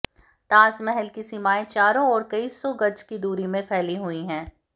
ताजमहल की सीमाएँ चारों ओर कई सौ गज की दूरी में फैली हुई है